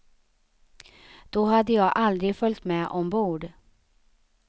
Då hade jag aldrig följt med ombord.